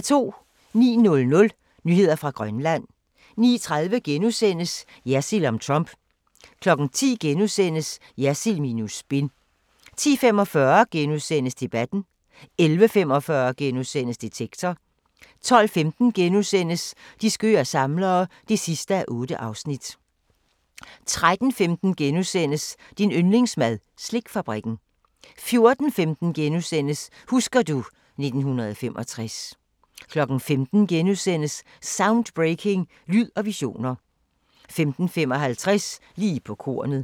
09:00: Nyheder fra Grønland 09:30: Jersild om Trump * 10:00: Jersild minus spin * 10:45: Debatten * 11:45: Detektor * 12:15: De skøre samlere (8:8)* 13:15: Din yndlingsmad: Slikfabrikken * 14:15: Husker du ... 1965 * 15:00: Soundbreaking – Lyd og visioner * 15:55: Lige på kornet